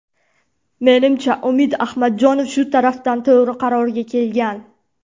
Menimcha, Umid Ahmadjonov shu tarafdan to‘g‘ri qarorga kelgan.